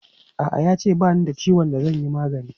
A'a, ya ce ba ni da ciwon da zan yi magani.